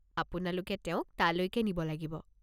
আপোনালোকে তেওঁক তালৈকে নিব লাগিব।